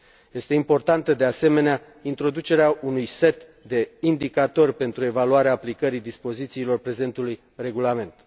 Este importantă, de asemenea, introducerea unui set de indicatori pentru evaluarea aplicării dispozițiilor prezentului regulament.